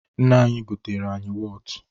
Nne anyị goteere anyị wọtụ.